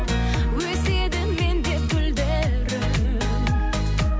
өседі мен деп гүлдерің